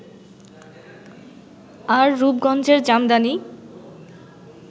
আর রূপগঞ্জের জামদানি